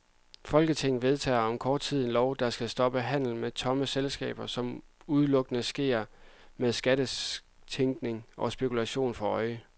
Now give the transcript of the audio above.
Folketinget vedtager om kort tid en lov, der skal stoppe handel med tomme selskaber, som udelukkende sker med skattetænkning og spekulation for øje.